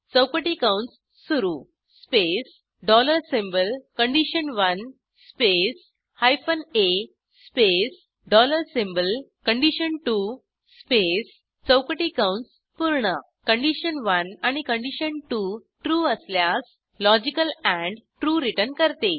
चौकटी कंस सुरू space dollar symbol condition one space hyphen आ space dollar symbol condition two space चौकटी कंस पूर्ण कंडिशन1 आणि कंडिशन2 trueअसल्यास लॉजिकल एंड ट्रू रिटर्न करते